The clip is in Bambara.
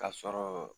Ka sɔrɔ